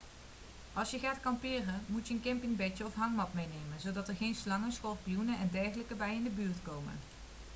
als je gaat kamperen moet je een campingbedje of hangmat meenemen zodat er geen slangen schorpioenen en dergelijke bij je in de buurt komen